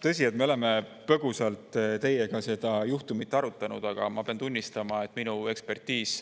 Tõsi, me oleme põgusalt teiega seda juhtumit arutanud, aga ma pean tunnistama, et minu ekspertiis